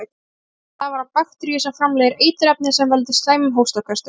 Sýkingin stafar af bakteríu sem framleiðir eiturefni sem veldur slæmum hóstaköstum.